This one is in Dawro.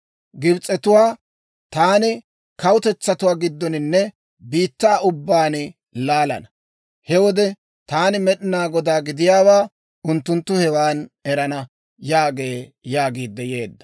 Gibs'etuwaa taani kawutetsatuwaa giddoninne biittaa ubbaan laalana. He wode taani Med'inaa Godaa gidiyaawaa unttunttu hewan erana› yaagee» yaagiidde yeedda.